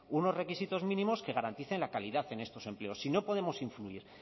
unos requisitos mínimos que garanticen la calidad en estos empleos si no podemos influir